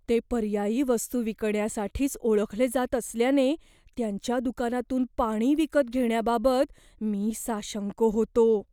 ते पर्यायी वस्तू विकण्यासाठीच ओळखले जात असल्याने त्यांच्या दुकानातून पाणी विकत घेण्याबाबत मी साशंक होतो.